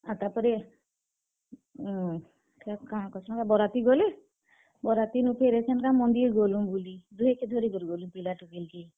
ଆର୍ ତାପରେ, ଉଁ, କାଣା ତହେସନ୍ ଗା ବରାତି ଗଲେ, ବରାତିନୁ ଫେର୍ ଏଛେନ୍ କା ମନ୍ଦିର୍ ଗଲୁଁ ବୁଲି। ଦୁହେଁ କେ ଧରି କି ଗଲୁଁ ପିଲା ଟୁକେଲ୍ କେ।